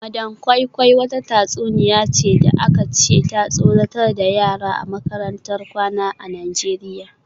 Madam koi koi wata tatsuniya ce da aka ce ta tsoratar da yara a makarantar kwana a Najeriya